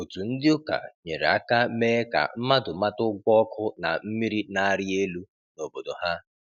Otu ndị ụka nyere aka mee ka mmadụ mata ụgwọ ọkụ na mmiri na-arị elu n’obodo ha.